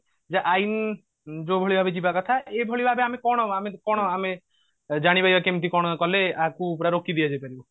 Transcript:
ଯେ ଆଇନ ଯୋଉଭଳି ଭାବେ ଯିବା କଥା ଏଭଳି ଆମେ କଣ ଆମେ କଣ ଜାଣିବା ଯ କେମତି କଣ କଲେ ଆକୁ ପୁରା ରୋକିଦିଆ ଯାଇ ପାରିବ